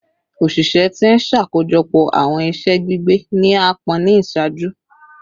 Oṣiṣẹ ti n ṣakojọpọ awọn iṣẹ gbigbe ni aapọn ni iṣaaju